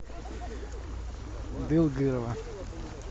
дылгырова